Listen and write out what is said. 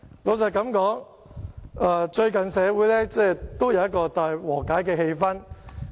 老實說，最近社會有一個大和解的氣氛。